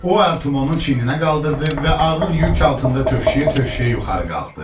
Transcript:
O Artemonun çiyininə qaldırdı və ağır yük altında tövşüyə-tövşüyə yuxarı qalxdı.